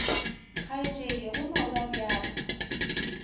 kgaetšedi go no ba bjalo